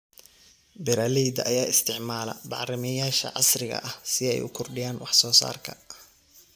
Beeralayda ayaa isticmaala bacrimiyeyaasha casriga ah si ay u kordhiyaan wax soo saarka.